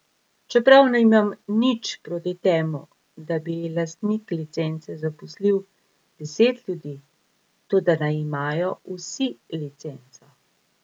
Čeprav nimam nič proti temu, da bi lastnik licence zaposlil deset ljudi, toda naj imajo vsi licenco.